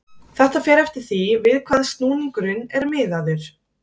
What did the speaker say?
Þetta fer eftir því við hvað snúningurinn er miðaður.